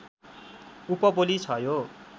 उपबोली छ यो